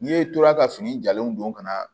N'i ye tora ka fini jalen don ka na